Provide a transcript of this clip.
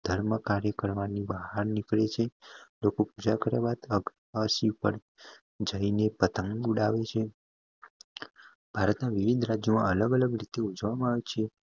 ધર્મ કાર્ય બહાર નીકળે છે લોકો પૂજા કરવાથી જાયઈને પતંગ ઉદ્ભવે છે ભારત માં વિવિધ રાજ્ય માં અલગ અલગ રીતે ઉજવામાં આવે છે